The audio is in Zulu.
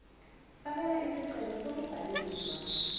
fakela isicelo sokubhaliswa